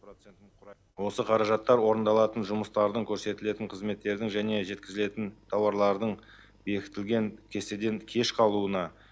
осы қаражаттар орындалатын жұмыстардың көрсетілетін қызметтердің және жеткізілетін таурлардың бекітілген кестеден кеш қалуына